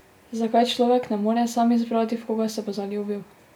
Zakaj človek ne more sam izbrati, v koga se bo zaljubil?